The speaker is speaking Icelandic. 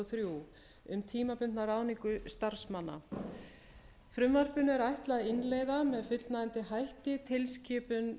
þrjú um tímabundna ráðningu starfsmanna frumvarpinu er ætlað að innleiða með fullnægjandi hætti tilskipun